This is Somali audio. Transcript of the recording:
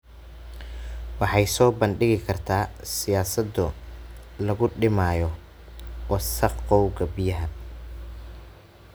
Waxay soo bandhigi kartaa siyaasado lagu dhimayo wasakhowga biyaha.